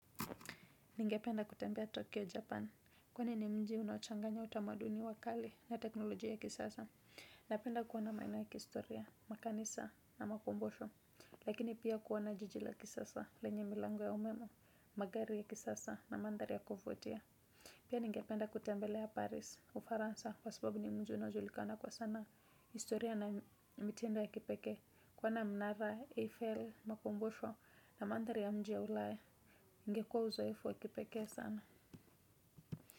Ningependa kutembea Tokyo, Japan. Kwani ni mji unaochanganya utamaduni wa kale na teknolojia ya kisasa. Napenda kuona maeneo ya kihistoria, makanisa na makumbusho. Lakini pia kuona jijila kisasa, lenye milango ya umeme, magari ya kisasa na mandhari ya kuvutia. Pia ningependa kutembelea Paris, ufaransa, kwa sababu ni mji unaojulikana kwa sana. Historia na mitindo ya kipeke. Kuona mnara AFL makumbusho na mandhari ya mjia ulaya ingekuwa uzoefu wikipeke sana.